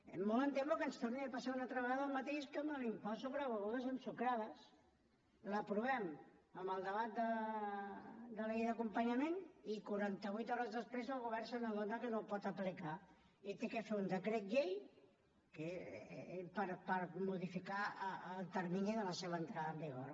molt em temo que ens torni a passar una altra vegada el mateix que amb l’impost sobre begudes ensucrades l’aprovem en el debat de la llei d’acompanyament i quaranta vuit hores després el govern se n’adona que no el pot aplicar i ha de fer un decret llei per modificar el termini de la seva entrada en vigor